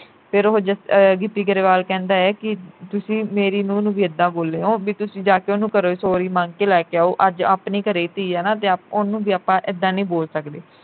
ਫਿਰ ਉਹ ਅਹ ਗਿੱਪੀ ਗਰੇਵਾਲ ਕਹਿੰਦਾ ਐ ਕਿ ਤੁਸੀਂ ਮੇਰੀ ਨੂੰਹ ਨੂੰ ਵੀ ਇੱਦਾਂ ਬੋਲਿਓ ਬਈ ਤੁਸੀਂ ਜਾ ਕੇ ਉਹਨੂੰ ਘਰੋ sorry ਮੰਗ ਕੇ ਲੈ ਕੇ ਆਓ ਅੱਜ ਆਪਣੀ ਘਰੇ ਧੀ ਐ ਨਾ ਤੇ ਓਹਨੂੰ ਵੀ ਆਪਾਂ ਇੱਦਾਂ ਨੀ ਬੋਲ ਸਕਦੇ